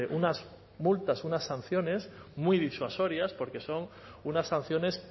unas multas unas sanciones muy disuasorias porque son unas sanciones